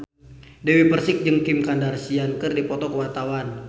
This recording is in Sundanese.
Dewi Persik jeung Kim Kardashian keur dipoto ku wartawan